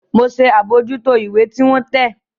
Mọ ṣe abojuto ìwé tí wọn tẹ